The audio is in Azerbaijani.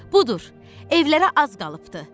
Budur, evlərə az qalıbdı.